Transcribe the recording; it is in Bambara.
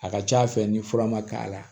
A ka ca fɛ ni fura ma k'a la